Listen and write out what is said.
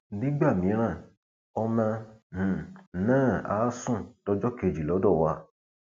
nígbà mìíràn ọmọ um náà àá sùn dọjọ kejì lọdọ wa